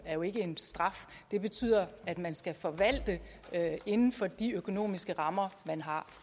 er jo ikke en straf det betyder at man skal forvalte inden for de økonomiske rammer man har